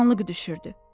Qaranlıq düşürdü.